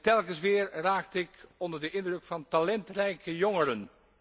Telkens weer raakte ik onder de indruk van talentrijke jongeren.